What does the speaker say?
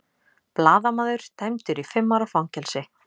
Blaðamaður dæmdur í fimm ára fangelsi